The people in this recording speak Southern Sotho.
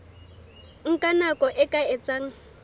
nka nako e ka etsang